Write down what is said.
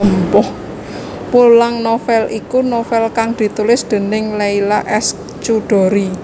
Pulang novel iku novel kang ditulis déning Leila S Chudori